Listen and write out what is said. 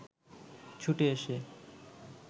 ছুটে এসে